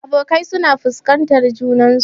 Abokai suna fuskantar junansu.